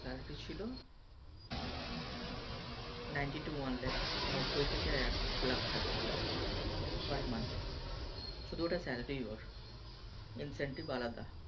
Salary ছিল Ninety One থেকে লাখ টাকার মত Per Month শুধু ওটা Salary ওর Insentive আলাদা।